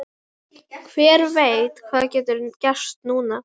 Hver veit hvað getur gerst núna?